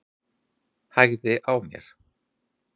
Hægði á mér.